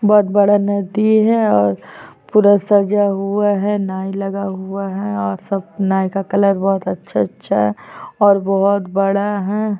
बहोत बड़ा नदी है और पूरा सजा हुआ है नाई लगा हुआ है और सब नाई का कलर बहोत अच्छा-अच्छा है अर बहोत बड़ा है ।